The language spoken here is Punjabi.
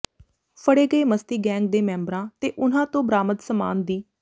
ਫੜੇ ਗਏ ਮਸਤੀ ਗੈਂਗ ਦੇ ਮੈਂਬਰਾਂ ਤੇ ਉਨ੍ਹਾਂ ਤੋਂ ਬਰਾਮਦ ਸਮਾਨ ਦਿ